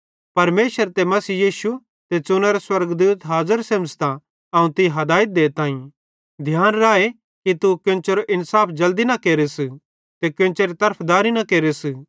परमेशर ते मसीह यीशु ते च़ुनोरे स्वर्गदूत हाज़र सेमझ़तां अवं तीं हादयत देताईं ध्यान राए कि तू केन्चेरो इन्साफ जल्दी न केरस ते कोन्चेरी तरफदारी न केर